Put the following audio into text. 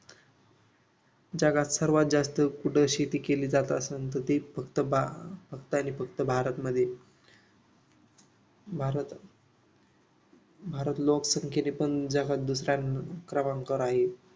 जगात सर्वात जास्त कुठं शेती केली जात असल तर ती फक्त बा फक्त आणि फक्त भारतमध्ये भारत भारत लोकसंख्येने पण जगात दुसऱ्या क्रमांकावर आहे.